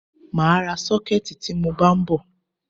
Mà á ra sọ́kẹ̀tì tí mọ bá ń bọ̀.